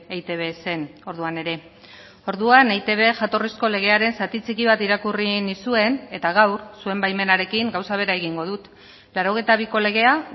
eitb zen orduan ere orduan eitb jatorrizko legearen zati txiki bat irakurri nizuen eta gaur zuen baimenarekin gauza bera egingo dut laurogeita biko legea